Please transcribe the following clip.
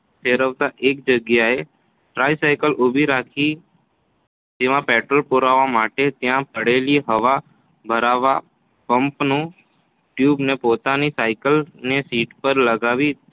ફેરવતાં એક જગ્યાએ ટ્રાયસાયકલ ઊભી રાખી તેમાં પેટ્રોલ પુરાવવા માટે ત્યાં પડેલી હવા ભરવાનાં પમ્પની ટ્યુબને પોતાની સાયકલની સીટ પર લગાવી